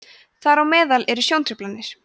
þar á meðal eru sjóntruflanir